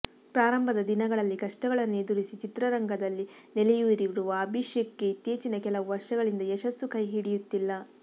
ಪ್ರಾರಂಭದ ದಿನಗಳಲ್ಲಿ ಕಷ್ಟಗಳನ್ನು ಎದುರಿಸಿ ಚಿತ್ರರಂಗದಲ್ಲಿ ನೆಲೆಯೂರಿರುವ ಅಭಿಷೇಕ್ ಗೆ ಇತ್ತೀಚಿನ ಕೆಲವು ವರ್ಷಗಳಿಂದ ಯಶಸ್ಸು ಕೈ ಹಿಡಿಯುತ್ತಿಲ್ಲ